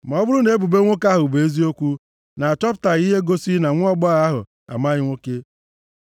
Ma ọ bụrụ na ebubo nwoke ahụ bụ eziokwu, na achọpụtaghị ihe gosiri na nwaagbọghọ ahụ amaghị nwoke.